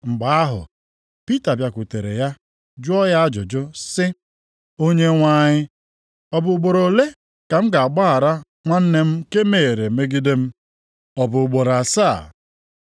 Mgbe ahụ Pita bịakwutere ya jụọ ya ajụjụ sị, “Onyenwe anyị, ọ bụ ugboro ole ka m ga-agbaghara nwanne m nke mehiere megide m? Ọ bụ ugboro asaa?”